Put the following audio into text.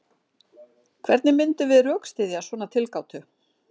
Hvernig myndum við rökstyðja svona tilgátu?